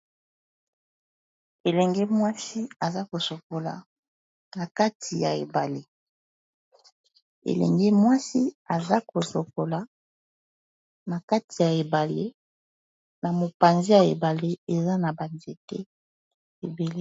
Elenge mwasi aza kosokola na kati ya ebale, na mopanzi ya ebale eza na ba nzete ebele.